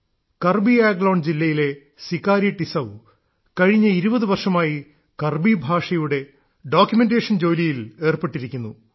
കർബി ആഗ്ലോൺ ജില്ലയിലെ സികാരി ടിസൌ കഴിഞ്ഞ 20 വർഷമായി കർബി ഭാഷയുടെ ഡോക്യുമെന്റേഷൻ ജോലിയിൽ ഏർപ്പെട്ടിരിക്കുന്നു